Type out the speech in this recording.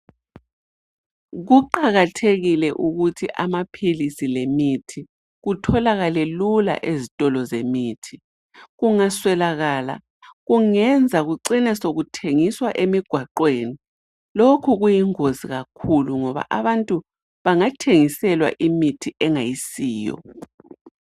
Kuqakathekile ukuthi amaphilisi lemithi kutholakale lula ezitholo zemithi. Kungaswelakala kungenza kucine sekuthengiswa emigwaqweni ,lokhu kuyingozi kakhulu ngoba abantu bengathengiselwa imithi engayisiyo.